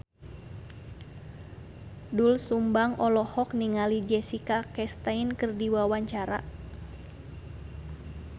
Doel Sumbang olohok ningali Jessica Chastain keur diwawancara